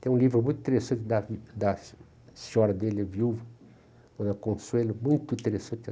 Tem um livro muito interessante da da senhora dele, a viúva, Dona Consuelo, muito interessante.